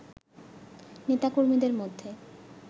নেতা কর্মীদের মধ্যে